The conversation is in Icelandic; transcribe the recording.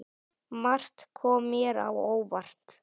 Margt kom mér á óvart.